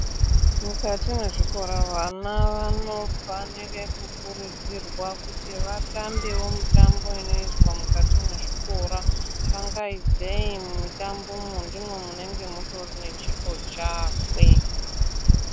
Mukati mwezvikora vana vanofanire kukurudzirwa kuti vatambewo mutambo inoizwa mukati mwezvikora, kangaidzei mumitambomwo ndimwo munenge mutori nechipo chakwe.